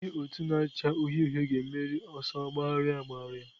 Ndị otu na-acha uhie uhie ga-emeri n'ọsọ agbagharị agbagharị.